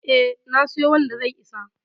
E, na siyo wanda zai isa.